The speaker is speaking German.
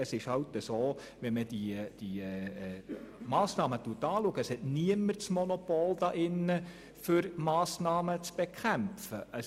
In Anbetracht dieser Massnahmen hat niemand hier in diesem Saal ein Monopol für deren Bekämpfung.